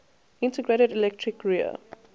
integrated electric rear